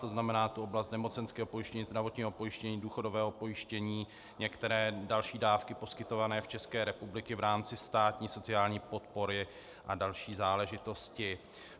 To znamená, tu oblast nemocenského pojištění, zdravotního pojištění, důchodového pojištění, některé další dávky poskytované v České republice v rámci státní sociální podpory a další záležitosti.